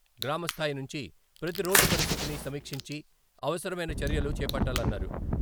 గ్రామస్థాయి నుంచి ప్రతి రోడ్డు పరిస్థితిని సమీక్షించి అవసరమైన చర్యలు చేపట్టాలన్నారు.